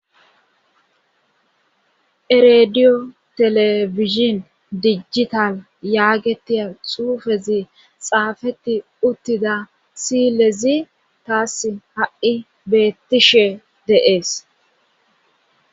erediyo telefizhin dijjital yaagetiya xuufezi xaafeti uttida silezi taass ha'i beettishe dee'es